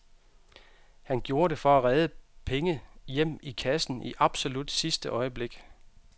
Han gjorde det for at redde penge hjem i kassen i absolut sidste øjeblik.